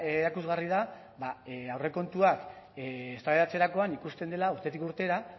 erakusgarri da aurrekontuak eztabaidatzerakoan ikusten dela urtetik urtera